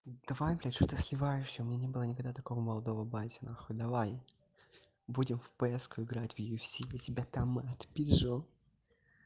давай блядь что ты сливаешься у меня не было никогда такого молодого папы нахуй давай будем в пск играть в юфс для тебя там отпизжу